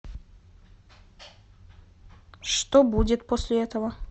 что будет после этого